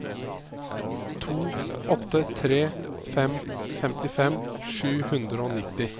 to åtte tre fem femtifem sju hundre og nittini